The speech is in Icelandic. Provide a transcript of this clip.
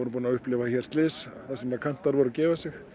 búin að upplifa hér slys þar sem kantar voru að gefa sig